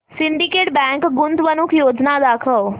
Syndicate bank गुंतवणूक योजना दाखव